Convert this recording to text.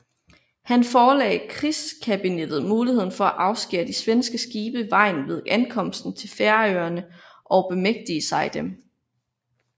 Han forelagde krigskabinettet muligheden for at afskære de svenske skibe vejen ved ankomsten til Færøerne og bemægtige sig dem